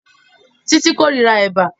Títí kórira Ẹ̀bà